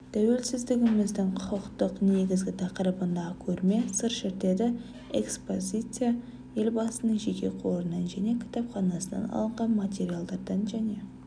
тәуелсіздігіміздің құқықтық негізі тақырыбындағы көрме сыр шертеді экспозиция елбасының жеке қорынан және кітапханасынан алынған материалдардан және